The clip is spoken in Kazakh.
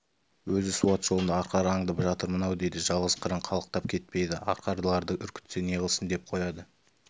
өзі суат жолында арқар аңдып жатырмын-ау дейді жалғыз қыран қалықтап кетпейді арқарларды үркітпесе неғылсын деп қояды